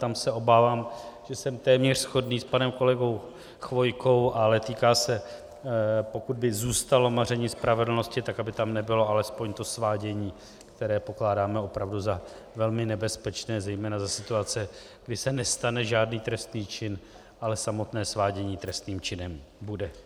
Tam se obávám, že jsem téměř shodný s panem kolegou Chvojkou, ale týká se, pokud by zůstalo maření spravedlnosti, tak aby tam nebylo alespoň to svádění, které pokládáme opravdu za velmi nebezpečné, zejména za situace, kdy se nestane žádný trestný čin, ale samotné svádění trestným činem bude.